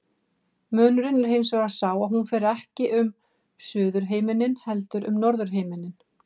Munurinn er hins vegar sá að hún fer ekki um suðurhimininn heldur um norðurhimininn.